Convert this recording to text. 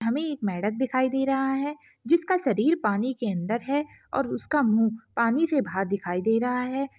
यहाँ पे एक मेढक दिखाई दे रहा है जिसका शरीर पानी के अंदर है और उसका मुह पानी से बाहर दिखाई दे रहा है।